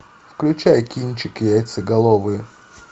включай кинчик яйцеголовые